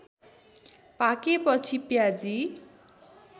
पाकेपछि प्याजी